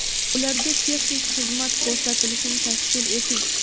ularga texnik xizmat ko‘rsatilishini tashkil eting;.